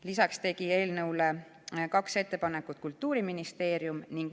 Lisaks tegi eelnõu kohta kaks ettepanekut Kultuuriministeerium.